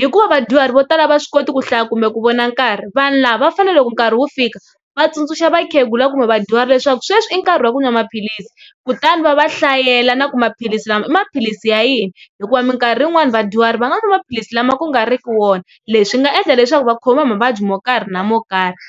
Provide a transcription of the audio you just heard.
hikuva vadyuharhi vo tala a va swi koti ku hlaya kumbe ku vona nkarhi vanhu lava vafanele loko nkarhi wu fika va tsundzuxa vakhegula kumbe vadyuhari leswaku sweswi i nkarhi wa ku n'wa maphilisi kutani va va hlayela na ku maphilisi lama i maphilisi ya yini hikuva minkarhi yin'wana vadyuhari va nga n'wa maphilisi lama ku nga riki wona leswi nga endla leswaku va khomiwa mavabyi mo karhi na mo karhi.